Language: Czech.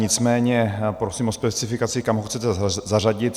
Nicméně prosím o specifikaci, kam ho chcete zařadit.